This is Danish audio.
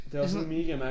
Det sådan noget